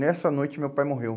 Nessa noite meu pai morreu.